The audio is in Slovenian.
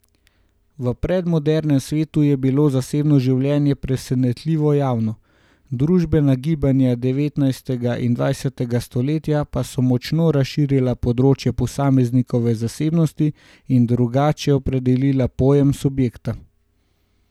V predmodernem svetu je bilo zasebno življenje presenetljivo javno, družbena gibanja devetnajstega in dvajsetega stoletja pa so močno razširila področje posameznikove zasebnosti in drugače opredelila pojem subjekta.